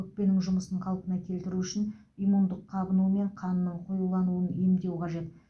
өкпенің жұмысын қалпына келтіру үшін иммундық қабыну мен қанның қоюлануын емдеу қажет